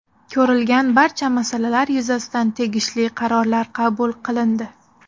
Ko‘rilgan barcha masalalar yuzasidan tegishli qarorlar qabul qilindi.